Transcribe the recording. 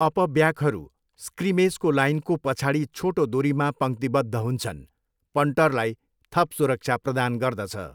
अपब्याकहरू स्क्रिमेजको लाइनको पछाडि छोटो दुरीमा पङ्क्तिबद्ध हुन्छन्, पन्टरलाई थप सुरक्षा प्रदान गर्दछ।